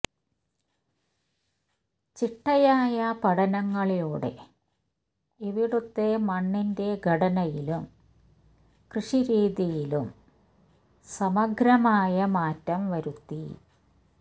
ചിട്ടയായ പഠനങ്ങളിലൂടെ ഇവിടുത്തെ മണ്ണിൻ്റെ ഘടനയിലും കൃഷിരീതിയിലും സമഗ്രമായ മാറ്റം വരുത്തി